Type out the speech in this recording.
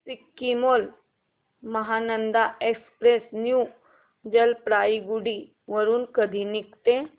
Sikkim Mahananda express new Jalpaiguri वरून कधी निघते